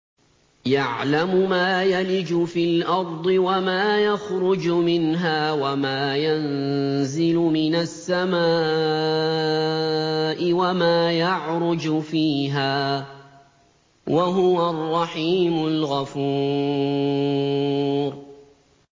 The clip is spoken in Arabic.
يَعْلَمُ مَا يَلِجُ فِي الْأَرْضِ وَمَا يَخْرُجُ مِنْهَا وَمَا يَنزِلُ مِنَ السَّمَاءِ وَمَا يَعْرُجُ فِيهَا ۚ وَهُوَ الرَّحِيمُ الْغَفُورُ